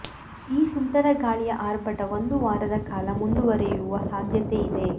ಈ ಸುಂಟರಗಾಳಿಯ ಆರ್ಭಟ ಒಂದು ವಾರದ ಕಾಲ ಮುಂದುವರಿಯುವ ಸಾಧ್ಯತೆ ಇದೆ